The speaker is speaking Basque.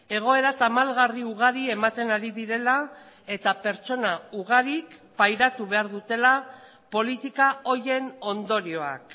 egoera tamalgarri ugari ematen ari direla eta pertsona ugarik pairatu behar dutela politika horien ondorioak